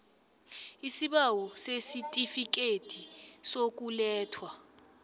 isibawo sesitifikhethi sokulethwa